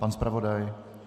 Pan zpravodaj?